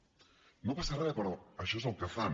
no passa res però això és el que fan